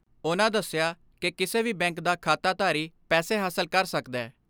ਉਨ੍ਹਾਂ ਦਸਿਆ ਕਿ ਕਿਸੇ ਵੀ ਬੈਂਕ ਦਾ ਖਾਤਾਧਾਰੀ ਪੈਸੇ ਹਾਸਲ ਕਰ ਸਕਦੈ।